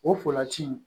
O fulaji in